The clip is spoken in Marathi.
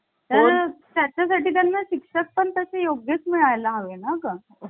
तर त्याच्या साठी त्यांना शिक्षक पण तसे योगेश मिळायला हवे ना का